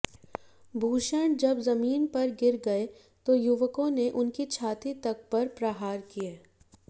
भूषण जब जमीन पर गिर गए तो युवकों ने उनकी छाती तक पर प्रहार किए